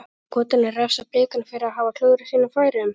Munu Skotarnir refsa Blikunum fyrir að hafa klúðrað sínum færum?